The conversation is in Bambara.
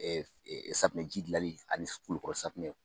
safunɛji gilali ani kulukɔrɔ safunɛ.